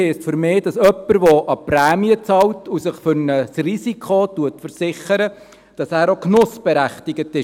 Versicherung heisst für mich, dass jemand, der Prämie bezahlt und sich für ein Risiko versichert, auch genussberechtigt ist.